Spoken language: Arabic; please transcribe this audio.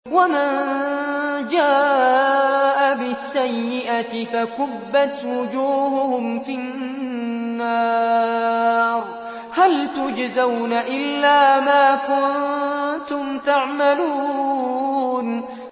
وَمَن جَاءَ بِالسَّيِّئَةِ فَكُبَّتْ وُجُوهُهُمْ فِي النَّارِ هَلْ تُجْزَوْنَ إِلَّا مَا كُنتُمْ تَعْمَلُونَ